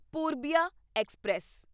Purbia express